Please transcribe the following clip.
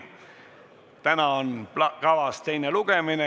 Täna on kavas teine lugemine.